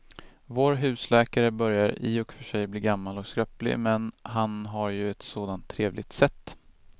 Vår husläkare börjar i och för sig bli gammal och skröplig, men han har ju ett sådant trevligt sätt!